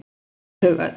Og þau töl